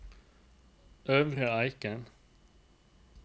Øvre Eiker